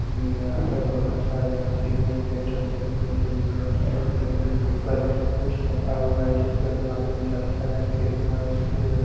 हमें यहां पर बहोत सारे ऑक्सीजन सिलेंडर देखने तो मिलेगा सिलेंडर के ऊपर कुछ रखा हुआ है जिसपे मालूम चलता है कि कितना ऑक्सीजन है।